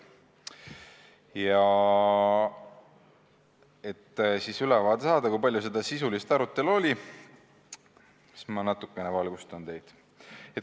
Ja et ülevaade anda, kui palju seda sisulist arutelu oli, ma natukene valgustan teid.